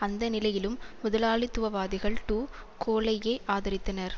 அந்த நிலையிலும் முதலாளித்துவவாதிகள் டு கோலையே ஆதரித்தனர்